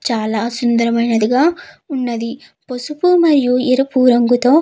చాలా సుందరమైంది గా ఉన్నది పసుపు మరియు ఎరుపు రంగుతో --